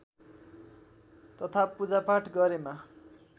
तथा पूजापाठ गरेमा